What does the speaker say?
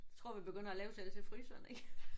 Jeg tror vi begynder at lave selv til fryseren ik